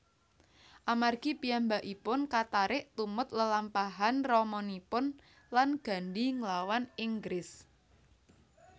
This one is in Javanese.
Amargi piyambakipun katarik tumut lelampahan ramanipun lan Gandhi nglawan Inggris